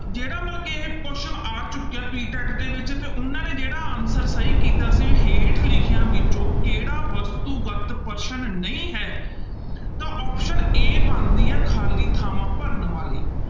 ਜਿਹੜਾ ਮਤਲਬ ਕਿ ਇਹ question ਆ ਚੁੱਕਿਆ PTET ਦੇ ਵਿੱਚ ਤੇ ਉਹਨਾਂ ਨੇ ਜਿਹੜਾ answer ਸਹੀ ਕੀਤਾ ਸੀ ਹੇਠ ਲਿਖਿਆਂ ਵਿੱਚੋਂ ਕਿਹੜਾ ਵਸਤੂਗਤ ਪ੍ਰਸ਼ਨ ਨਹੀਂ ਹੈ ਤਾਂ option a ਬਣਦੀ ਹੈ ਖ਼ਾਲੀ ਥਾਵਾਂ ਭਰਨ ਬਾਰੇ।